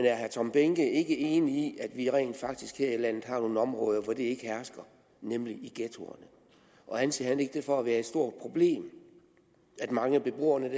er herre tom behnke ikke enig i at vi rent faktisk her i landet har nogle områder hvor det ikke hersker nemlig i ghettoerne og anser han ikke det for at være stort problem at mange af beboerne